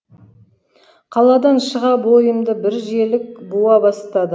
қаладан шыға бойымды бір желік буа бастады